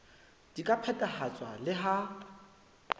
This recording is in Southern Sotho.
di ka phethahatswa le ha